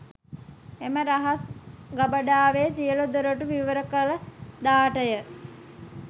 එම රහස් ගබඩාවේ සියලු දොරගුළු විවර කළ දාට ය.